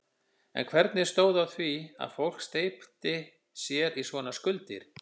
En hvernig stóð á því að fólk steypti sér í svona skuldir?